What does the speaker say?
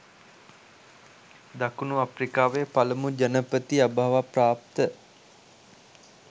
දකුණු අප්‍රිකාවේ පළමු ජනපති අභාවප්‍රාප්ත